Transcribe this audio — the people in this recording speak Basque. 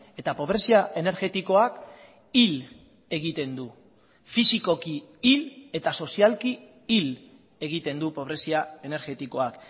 eta pobrezia energetikoak hil egiten du fisikoki hil eta sozialki hil egiten du pobrezia energetikoak